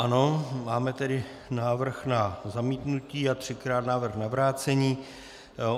Ano, máme tedy návrh na zamítnutí a třikrát návrh na vrácení.